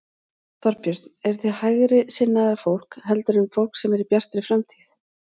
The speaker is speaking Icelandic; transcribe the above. Þorbjörn: Eruð þið hægri sinnaðra fólk heldur en fólk sem er í Bjartri framtíð?